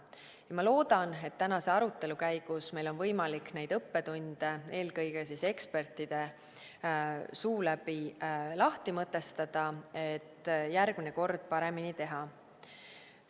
Ja ma loodan, et tänase arutelu käigus meil on võimalik neid õppetunde eelkõige siis ekspertide suu läbi lahti mõtestada, et järgmine kord paremini teha.